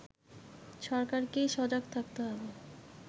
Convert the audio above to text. সরকারকেই সজাগ থাকতে হবে